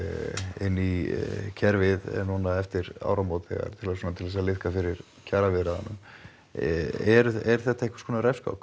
inn í kerfið núna eftir áramót svona til þess að liðka fyrir kjaraviðræðum er þetta einhvers konar refskák